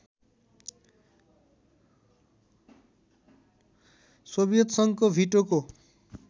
Soviet सङ्घको भिटोको